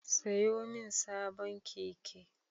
Sayo min sabon keke